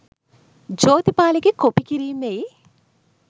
ජෝතිපාලගෙ copy කිරීමෙයි